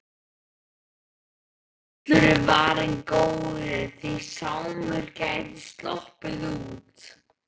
Allur er varinn góður, því Sámur gæti sloppið út.